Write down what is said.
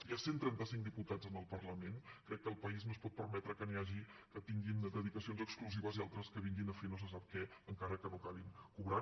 hi ha cent i trenta cinc diputats en el parlament crec que el país no es pot permetre que n’hi hagi que tinguin dedicacions exclusives i altres que vinguin a fer no se sap què encara que no acabin cobrant